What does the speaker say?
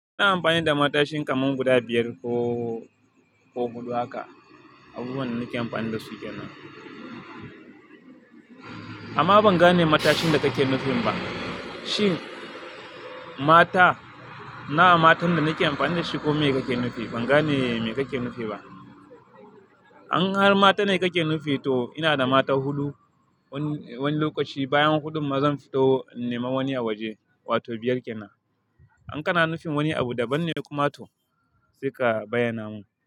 Ina amfani da matashin kamar guda biyar ko, ko huɗu haka. Abubuwan da nake amfani da su kenan. Amma ban gane matashin da kake nufi ba. Shi, mata, nawa matan da nake amfani da shi ko me kake nufi? Ban gane me kake nufi ba. In har mata ne kake nufi, to ina da mata huɗu. Wani, wani lokaci bayan huɗun ma zan fito nema wani a waje, wato biyar kenan. In kana nufin wani abu daban ne kuma to, sai ka bayyana mun.